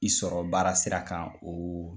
I sɔrɔ baara sira kan o